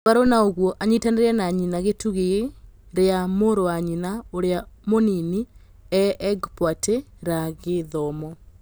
Mũgarũ na ũguo anyitanĩ ire na nyina gũtigĩ rĩ ra mũrũ wa nyina ũrĩ a mũnini nĩ egpwatĩ ra gĩ thomo.